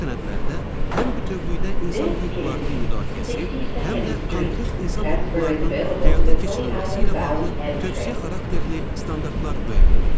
Bu sənədlərdə həm bütövlükdə insan hüquqlarının müdafiəsi, həm də konkret insan hüquqlarının həyata keçirilməsi ilə bağlı tövsiyə xarakterli standartlar müəyyən olunur.